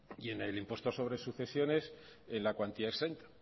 y en el impuesto sobre sucesiones en la cuantía exenta